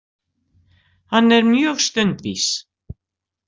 Hann er mjög stundvís.